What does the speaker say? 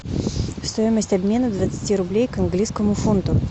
стоимость обмена двадцати рублей к английскому фунту